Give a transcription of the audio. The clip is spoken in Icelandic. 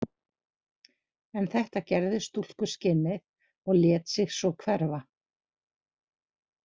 En þetta gerði stúlkuskinnið og lét sig svo hverfa.